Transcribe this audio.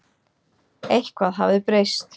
Eitthvað hafði breyst.